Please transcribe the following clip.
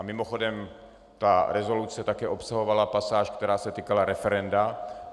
A mimochodem, ta rezoluce také obsahovala pasáž, která se týkala referenda.